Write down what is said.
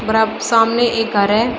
बड़ा सामने एक घर है।